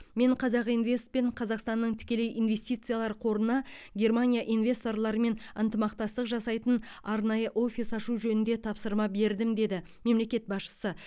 мен қазақинвест пен қазақстанның тікелей инвестициялар қорына германия инвесторларымен ынтымақтастық жасайтын арнайы офис ашу жөнінде тапсырма бердім деді мемлекет басшысы